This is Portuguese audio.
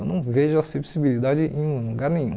Eu não vejo acessibilidade em um lugar nenhum.